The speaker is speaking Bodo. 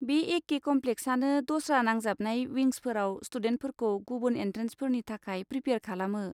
बे एखे कमप्लेक्सआनो दस्रा नांजाबनाय विंसफोराव स्टुडेन्टफोरखौ गुबुन एन्ट्रेनसफोरनि थाखाय प्रिपेआर खालामो।